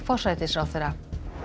forsætisráðherra